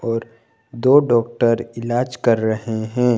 और दो डॉक्टर इलाज कर रहे हैं।